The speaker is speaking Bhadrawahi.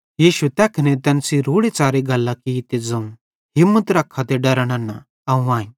यीशुए तैखने तैन सेइं रोड़ेच़ारे गल्लां की ते ज़ोवं हिम्मत रख्खा डरा नन्ना अवं आईं